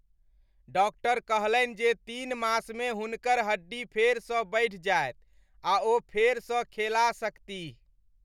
Doctor कहलनि जे तीन मासमे हुनकर हड्डी फेरसँ बढ़ि जायत आ ओ फेरसँ खेला सकतीह ।